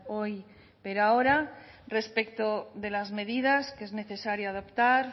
hoy pero ahora respecto de las medidas que es necesario adoptar